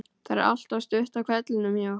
Það er alltaf stutt í hvellinn hjá okkur.